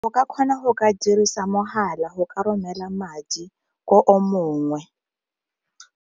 O ka kgona go ka dirisa mogala go ka romela madi ko o mongwe.